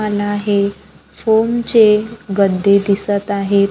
कान आहे फोम चे गद्दे दिसत आहेत.